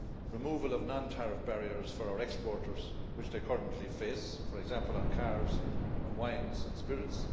removal of non tariff barriers for our exporters, which they currently face, for example, on cars, on wines, and spirits